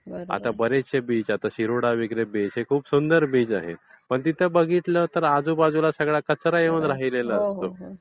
आता बरेचसे बीच, आता शिरोडा वगैरे बीच हे खूप सुंदर बीच आहेत. पण तिथे बघितलं तर आजूबाजूला सगळा कचरा येऊन राहिलेला असतो.